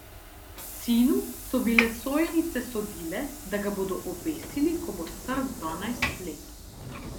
Sinu so bile sojenice sodile, da ga bodo obesili, ko bo star dvanajst let.